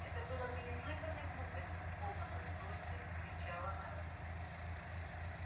это было бы неслыханной глупостью в полном расстройстве вскричала мелани